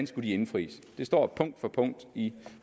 skulle indfries det står punkt for punkt i